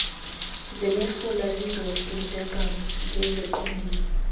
zemifula lizohlinzeka ngeziqondiso